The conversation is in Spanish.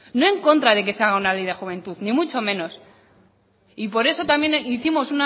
no en contra de que se haga una ley de juventud ni mucho menos y por eso también hicimos